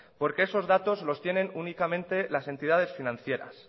porque esos datos los tienen únicamente las entidades financieras